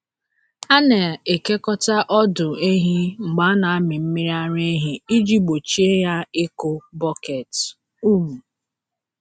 A na-ekekọta ọdụ ehi mgbe a na-amị mmiri ara ehi iji gbochie ya ịkụ bọket. um